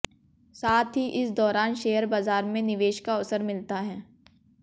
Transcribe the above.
साथ ही इस दौरान शेयर बाजार में निवेश का अवसर मिलता है